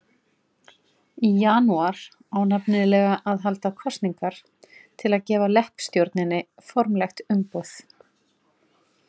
Í janúar á nefnilega að halda kosningar til að gefa leppstjórninni formlegt umboð.